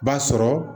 B'a sɔrɔ